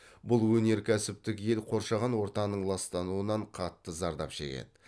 бұл өнеркәсіптік ел қоршаған ортаның ластануынан қатты зардап шегеді